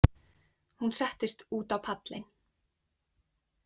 Hún settist út á pallinn.